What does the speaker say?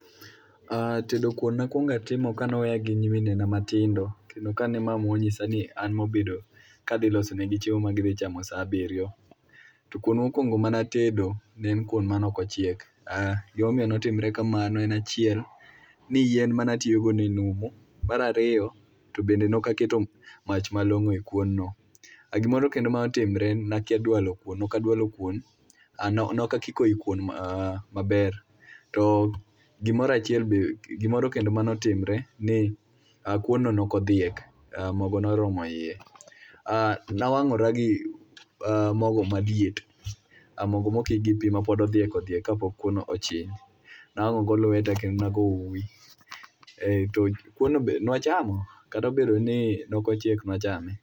tedo kuon nakwongatimo ka noweya gi nyimine na matindo kendo ka ne mamwa nonyisa ni an madhi bedo kadhiloso negi chiemo magidhichamo saa abirio to kuon mokwongo manatedo ne en kuon manok ochiek gimomiyo notimre kamano ne en achiel yien manatiyo go ne numu mara riyo to be nokaketo mach malongo e kuon no gimoro kendo manotimore nakia dwalo kuon nokadwalo kuon nokakiko ikuon maber gimoro kendo manotimre ni kuon no nokodhiek mogo noromo ie . nawangora gi mogo maliet, mogo mokik gi pii mapod odhiek odhiek kapok kuon ochiek nawango go lweta kendo nago uwii kuon no be nwachamo kata obedo ni nok ochiek nwachame